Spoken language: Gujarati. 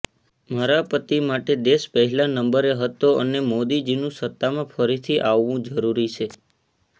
મારા પતિ માટે દેશ પહેલા નંબરે હતો અને મોદીજીનું સત્તામાં ફરીથી આવવુ જરૂરી છે